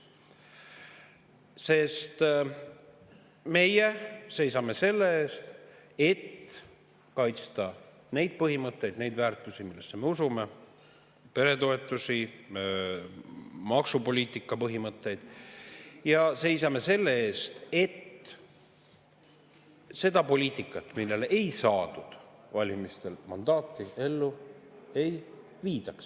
Sest meie seisame selle eest, et kaitsta neid põhimõtteid, neid väärtusi, millesse me usume, peretoetusi, maksupoliitika põhimõtteid, ja seisame selle eest, et seda poliitikat, millele ei saadud valimistel mandaati, ellu ei viidaks.